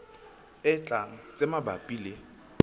e tlang tse mabapi le